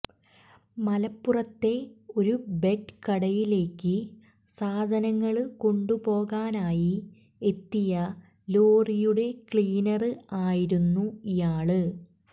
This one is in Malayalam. മലപ്പുറത്തെ ഒരു ബെഡ് കടയിലേയ്ക്ക് സാധനങ്ങള് കൊണ്ടുപോകാനായി എത്തിയ ലോറിയുടെ ക്ലീനര് ആയിരുന്നു ഇയാള്